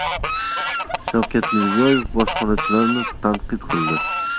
Shavkat Mirziyoyev bojxonachilarni tanqid qildi.